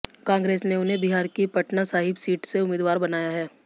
कांग्रेस ने उन्हें बिहार की पटना साहिब सीट से उम्मीदवार बनाया है